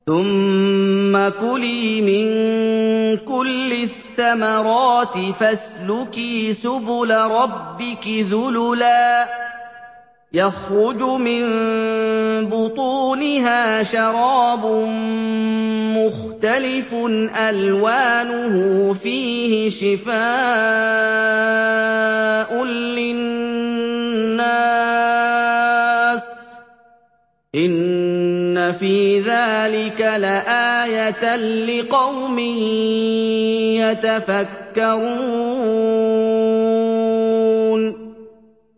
ثُمَّ كُلِي مِن كُلِّ الثَّمَرَاتِ فَاسْلُكِي سُبُلَ رَبِّكِ ذُلُلًا ۚ يَخْرُجُ مِن بُطُونِهَا شَرَابٌ مُّخْتَلِفٌ أَلْوَانُهُ فِيهِ شِفَاءٌ لِّلنَّاسِ ۗ إِنَّ فِي ذَٰلِكَ لَآيَةً لِّقَوْمٍ يَتَفَكَّرُونَ